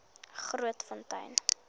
grootfontein